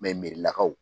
merilakaw